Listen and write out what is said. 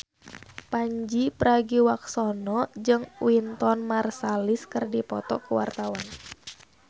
Pandji Pragiwaksono jeung Wynton Marsalis keur dipoto ku wartawan